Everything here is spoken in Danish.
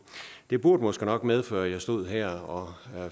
det burde måske nok medføre at jeg stod her og